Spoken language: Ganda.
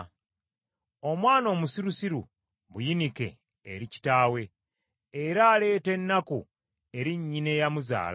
Omwana omusirusiru buyinike eri kitaawe, era aleeta ennaku eri nnyina eyamuzaala.